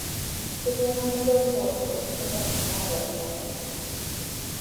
Ketii ena murua mpoosho kumok naata emoyian